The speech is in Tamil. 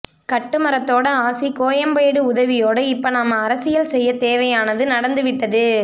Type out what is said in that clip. கட்டுமரத்தோட ஆசி கோயம்பேடு உதவியோடு இப்ப நாம அரசியல் செய்ய தேவையானது நடந்து விட்டது